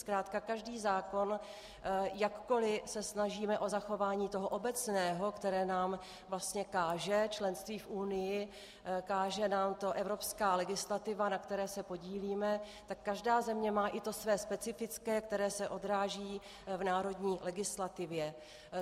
Zkrátka každý zákon, jakkoliv se snažíme o zachování toho obecného, které nám vlastně káže členství v Unii, káže nám to evropská legislativa, na které se podílíme, tak každá země má i to své specifické, které se odráží v národní legislativě.